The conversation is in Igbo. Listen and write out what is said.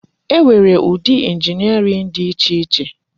E nwere ụdị injiniarin dị iche iche.